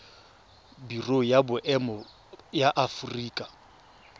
biro ya boemo ya aforika